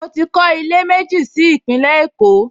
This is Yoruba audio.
Mo ti kọ́ ilé méjì sí Ìpínlẹ̀ Èkó